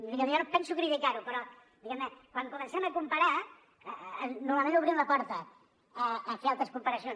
diguem ne jo no penso criticar ho però quan comencem a comparar normalment obrim la porta a fer altres comparacions